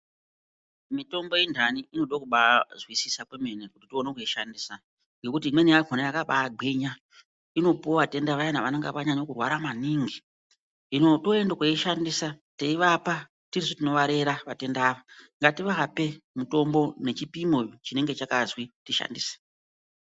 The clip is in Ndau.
Mitombo yendani inoda kubazwisisa kwemene kuti uone kuishandisa. Nekuti imweni yakona inobagwinya inopuva atenda vaya vanonga vanyanya kurara maningi. Hino toende koishandisa tinovapa tisu tinovarera vatenda ava. Ngativape mitombo nechipimo chinenge chakazwi tishandise.